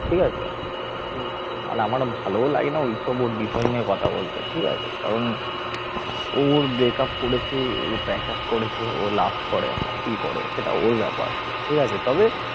ঠিক আছে আর আমার আর ভালোও লাগেনা ওইসব ওর বিষয় নিয়ে কথা বলতে ঠিক আছে কারণ ও ওর break up করেছে patch up করেছে ও love করে আবার কি করে সেটা ওর ব্যাপার ঠিক আছে তবে